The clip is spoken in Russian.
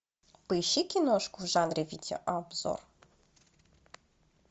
поищи киношку в жанре видеообзор